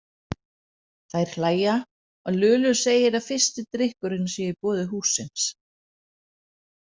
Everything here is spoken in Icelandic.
Þær hlæja og Lulu segir að fyrsti drykkurinn sé í boði hússins.